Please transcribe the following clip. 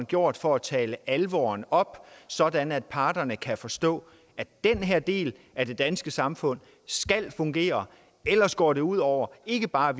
gjort for at tale alvoren op sådan at parterne kan forstå at den her del af det danske samfund skal fungere ellers går det ud over ikke bare